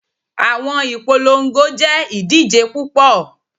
Awọn ipolongo jẹ idije pupọ